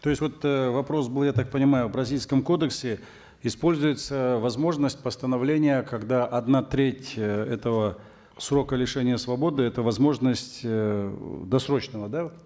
то есть вот э вопрос был я так понимаю в бразильском кодексе используется возможность постановления когда одна треть э этого срока лишения свободы это возможность э досрочного да